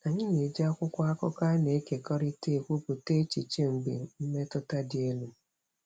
Anyị na-eji akwụkwọ akụkọ a na-ekekọrịta ekwupụta echiche mgbe mmetụta dị elu.